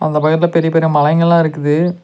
அந்த பக்கத்துல பெரிய பெரிய மலைங்கெல்லா இருக்குது.